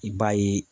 I b'a ye